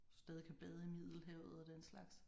Hvis du stadig kan bade i Middelhavet og den slags